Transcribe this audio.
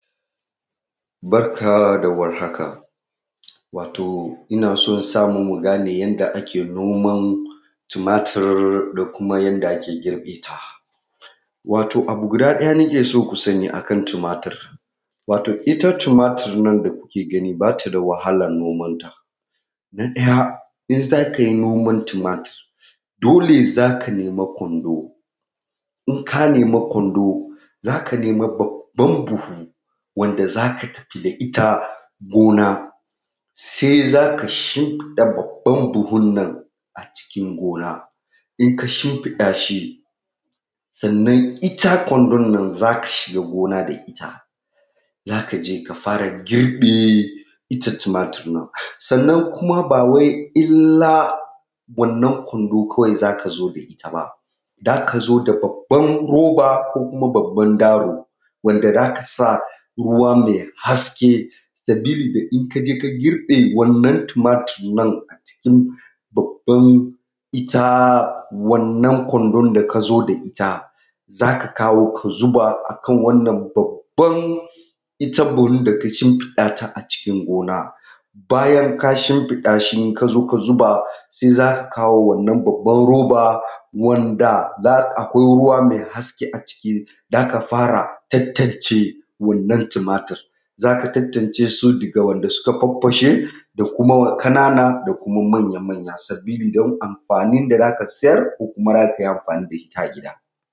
Barka da warhaka. Wato ina son samu mu gane yanda ake noman tumatur da kuma yanda ake girbe ta. Wato abu guda ɗaya nake so ku sani akan tumatur, wato ita tumatur nan da kuke gani ba ta da wahalan noman ta. Na ɗaya, in za ka yi noman tumatur dole za ka nema kwando, in ka nema kwando za ka nema babban buhu wanda za ka tafi da ita gona sai za ka shimfiɗa babban buhun nan acikin gona, in ka shimfiɗa shi, sannan ita kwandon nan za ka shiga gona da ita za ka je ka fara girbe ita tumaturin. Sannan kuma ba wai illa wannan kwando kawai za ka zo da ita ba, za ka zo da babban roba ko kuma babban daro wanda za ka sa ruwa mai haske sabili da in ka je ka girbe wannan tumatur nan acikin babban ita wannan kwandon da ka zo da ita za ka kawo ka zuba akan wannan babban ita buhun da ka shimfiɗa ta acikin gona. Bayan ka shimfiɗa shi in ka zo ka zuba sai za ka kawo wannan babban roba wanda za akwai ruwa mai haske aciki za ka fara tantance wannan tumatur, za ka tantance su daga wanda suka farfashe da kuma ƙanana da kuma manya sabili da amfani da za ka siyar ko kuma za ka yi amfani da ita a gida.